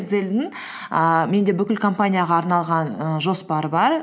экзельдің ііі менде бүкіл компанияға арналған ііі жоспар бар